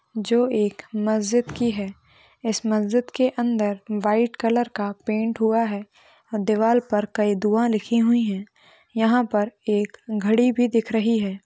जो एक मस्जिद की है इस मस्जिद के अंदर व्हाइट कलर का पेंट हुआ है दीवार पर कई दुआ लिखी हुई है यहा पर एक घड़ी भी दिख रही है।